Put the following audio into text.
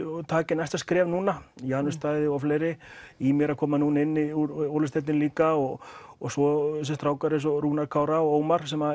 taki næsta skref núna Janus Daði og fleiri Ýmir að koma inn úr Olís deildinni líka og og svo þessir strákar eins og Rúnar Kára og Ómar sem